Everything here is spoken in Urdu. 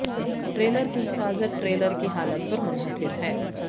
ٹریلر کی حفاظت ٹریلر کی حالت پر منحصر ہے